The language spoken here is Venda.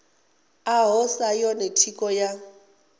ḽaho sa yone thikho ya